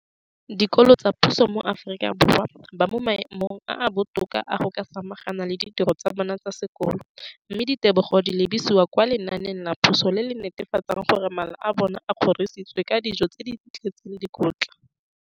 dikolo tsa puso mo Aforika Borwa ba mo maemong a a botoka a go ka samagana le ditiro tsa bona tsa sekolo, mme ditebogo di lebisiwa kwa lenaaneng la puso le le netefatsang gore mala a bona a kgorisitswe ka dijo tse di tletseng dikotla.